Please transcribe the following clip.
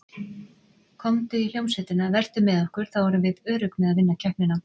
Komdu í hljómsveitina, vertu með okkur, þá erum við örugg með að vinna keppnina.